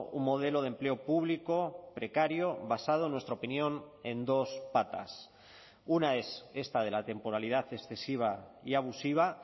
un modelo de empleo público precario basado en nuestra opinión en dos patas una es esta de la temporalidad excesiva y abusiva